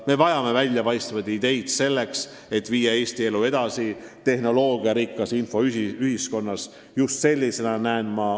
Me vajame väljapaistvaid ideid, et tehnoloogiarikkas infoühiskonnas Eesti elu edasi viia.